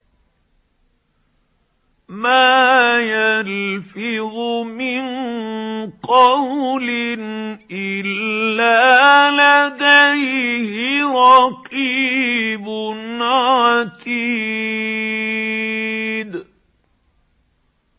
مَّا يَلْفِظُ مِن قَوْلٍ إِلَّا لَدَيْهِ رَقِيبٌ عَتِيدٌ